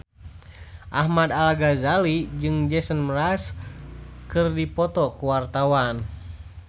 Ahmad Al-Ghazali jeung Jason Mraz keur dipoto ku wartawan